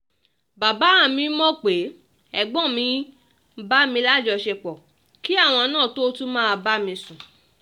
bàbá mi mọ̀ pé ẹ̀gbọ́n mi ń bá mi lájọṣepọ̀ kí àwọn náà tóo tún máa bá mi sùn